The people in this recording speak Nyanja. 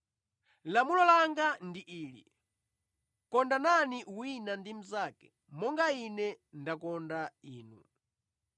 Lamulo langa ndi ili: ‘Kondanani wina ndi mnzake monga Ine ndakonda inu.’